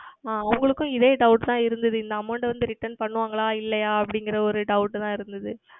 ஆஹ் அவர்களுக்கும் இதே Doubt தான் இருந்தது இந்த Amount வந்து Return செய்வார்கள் இல்லையா அப்படி என்கிற ஓர் Doubt தான் இருந்தது